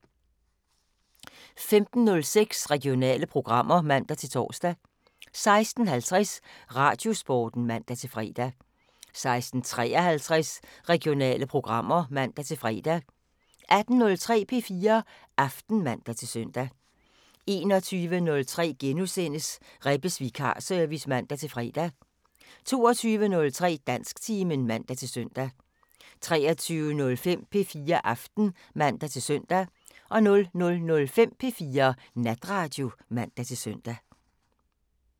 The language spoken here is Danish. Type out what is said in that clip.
15:06: Regionale programmer (man-tor) 16:50: Radiosporten (man-fre) 16:53: Regionale programmer (man-fre) 18:03: P4 Aften (man-søn) 21:03: Rebbes Vikarservice *(man-fre) 22:03: Dansktimen (man-søn) 23:05: P4 Aften (man-søn) 00:05: P4 Natradio (man-søn)